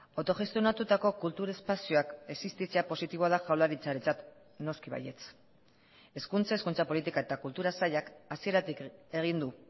autogestionatutako kultur espazioak existitzea positiboa da jaurlaritzarentzat noski baietz hezkuntza hizkuntza politika eta kultura sailak hasieratik egin du